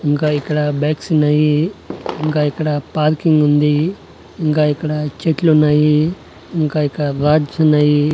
ఇంకా ఇక్కడ బైక్స్ ఉన్నాయి ఇంకా ఇక్కడ పార్కింగ్ ఉంది ఇంకా ఇక్కడ చెట్లు ఉన్నాయి ఇంకా ఇక్కడ రాడ్స్ ఉన్నాయి.